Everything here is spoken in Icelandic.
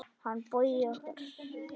Hann Bjöggi okkar.